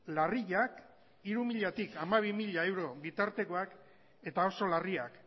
larriak hiru milatik hamabi mila euro bitartekoak eta oso larriak